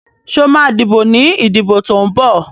Sọ ma díbò ní ìdìbò tó ń bọ̀?